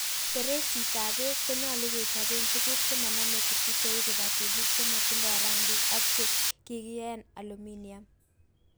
Bereisit ab beek konyolu kechoben tuguuk chemonome kutuu cheu kibatinik chebotindoo rangiik ak che kikiyaaen aluminiam.